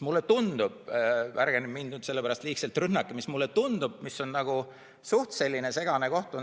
Ärge nüüd mind selle pärast liigselt rünnake, aga mulle tundub, et see on suhteliselt segane koht.